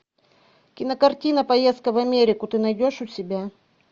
кинокартина поездка в америку ты найдешь у себя